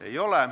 Ei ole.